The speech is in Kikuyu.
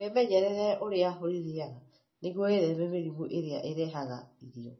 Wĩmenyerere ũrĩa ũrĩrĩaga nĩguo wĩtheme mĩrimũ ĩrĩa ĩrehaga irio.